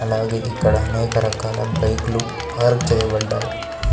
అలాగే ఇక్కడ అనేక రకాల బైక్ లు పార్క్ చేయబడ్డాయి.